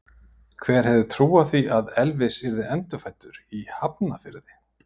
Hver hefði trúað því að Elvis yrði endurfæddur í Hafnarfirði?